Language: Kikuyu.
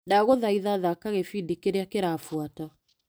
Ndagũthaitha thaka gĩbindi kĩrĩa kĩrabuata .